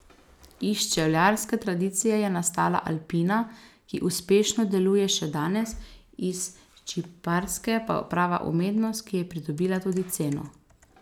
Iz čevljarske tradicije je nastala Alpina, ki uspešno deluje še danes, iz čipkarske pa prava umetnost, ki je pridobila tudi ceno.